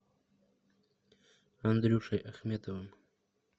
андрюшей ахметовым